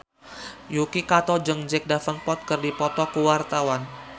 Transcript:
Yuki Kato jeung Jack Davenport keur dipoto ku wartawan